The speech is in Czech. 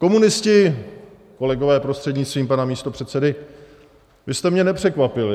Komunisti, kolegové, prostřednictvím pana místopředsedy, vy jste mě nepřekvapili.